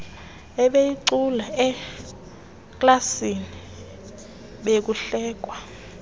ebeyicula eklasini bekuhlekwa